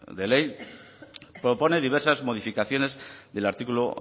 de ley propone diversas modificaciones del artículo